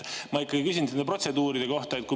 Ma ikkagi küsin nende protseduuride kohta.